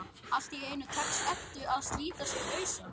Allt í einu tekst Eddu að slíta sig lausa.